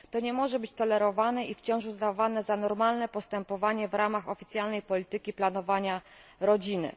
To nie może być tolerowane i wciąż uznawane za normalne postępowanie w ramach oficjalnej polityki planowania rodziny.